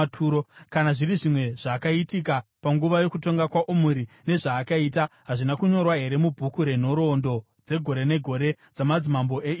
Kana zviri zvimwe zvakaitika panguva yokutonga kwaOmuri, nezvaakaita, hazvina kunyorwa here mubhuku renhoroondo dzegore negore dzamadzimambo eIsraeri?